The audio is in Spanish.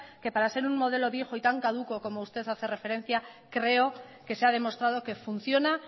que para ser un modelo viejo y tan caduco como usted hace referencia creo que se ha demostrado que funciona